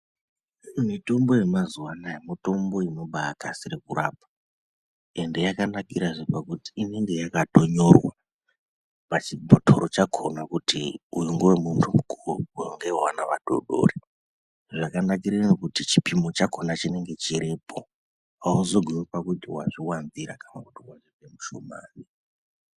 Mitombo yemazuwa anaya mutombo inobakasire kurapa, ende yakanakirazve kuti inenge yakatonyorwa pachibhotoro chakhona kuti uyu ngewe munhu mukuru, uyu ngewe ana adodori zvakanakire ino kuti chipimo chakhona chinenge chiripo. Hauzogumi pakuti wazviwanzira kana kuti wazvipe mushomani.